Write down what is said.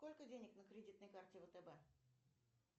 сколько денег на кредитной карте втб